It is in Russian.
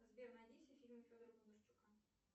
сбер найди все фильмы федора бондарчука